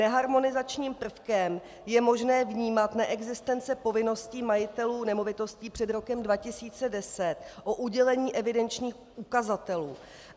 Neharmonizačním prvkem je možné vnímat neexistenci povinnosti majitelů nemovitostí před rokem 2010 o udělení evidenčních ukazatelů.